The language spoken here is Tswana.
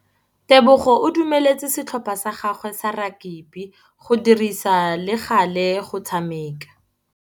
Tebogô o dumeletse setlhopha sa gagwe sa rakabi go dirisa le galê go tshameka.